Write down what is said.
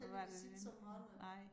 Heldigvis ikke så mange